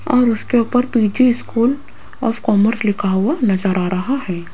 और उसके ऊपर पी_जी स्कूल ऑफ कॉमर्स लिखा हुआ नजर आ रहा है।